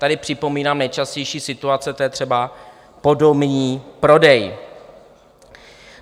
Tady připomínám nejčastější situace, to je třeba podomní prodej.